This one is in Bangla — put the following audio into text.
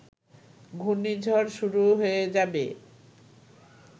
ঘুর্ণিঝড় শুরু হয়ে যাবে